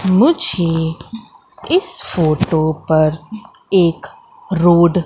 मुझे इस फोटो पर एक रोड --